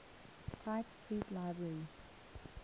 tite street library